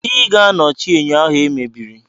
Ị ga-anọchi enyo ahụ e mebiri!